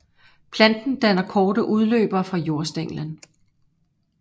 Planten danner korte udløbere fra jordstænglen